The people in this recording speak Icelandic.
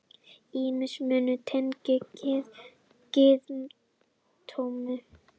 Ýmsir munir tengdir gyðingdómnum.